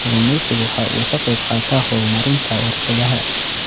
Kalluumaysigu waxa uu ka qayb qaataa horumarinta warshadaha.